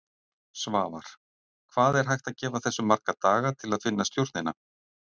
Svavar: Hvað er hægt að gefa þessu marga daga til að finna stjórnina?